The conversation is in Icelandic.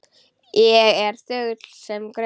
Ég er þögull sem gröfin.